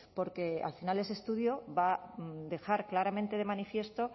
porque al final ese estudio va a dejar claramente de manifiesto